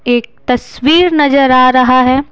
एक तस्वीर नजर आ रहा है।